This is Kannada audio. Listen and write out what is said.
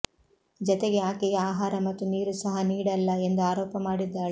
ಜತೆಗೆ ಆಕೆಗೆ ಆಹಾರ ಮತ್ತು ನೀರು ಸಹ ನೀಡಲ್ಲ ಎಂದು ಆರೋಪ ಮಾಡಿದ್ದಾಳೆ